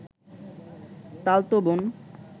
তালতো বোন